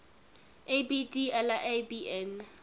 abd allah ibn